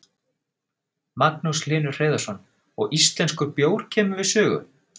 Magnús Hlynur Hreiðarsson: Og íslenskur bjór kemur við sögu?